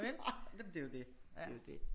Nej men det er jo det det er jo det